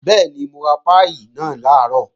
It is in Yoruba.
Bẹ́ẹ̀ni, mo ra páì náà làárọ̀